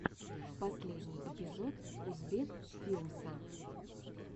последний эпизод узбек филмса